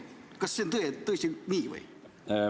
Kas see on tõesti nii?